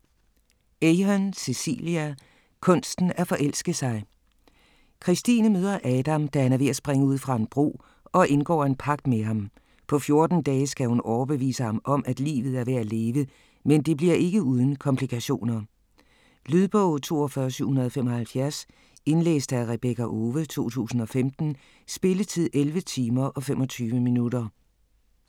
Ahern, Cecelia: Kunsten at forelske sig Christine møder Adam, da han er ved at springe ud fra en bro, og indgår en pagt med ham. På 14 dage skal hun overbevise ham om, at livet er værd at leve, men det bliver ikke uden komplikationer. Lydbog 42775 Indlæst af Rebekka Owe, 2015. Spilletid: 11 timer, 25 minutter.